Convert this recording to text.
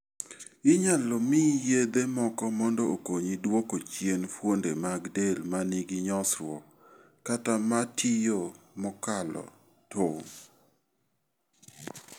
Inyalo miyi yedhe moko mondo okonyi dwok chien fuonde mag del ma nigi nyosruok, kata ma tiyo mokalo tong '.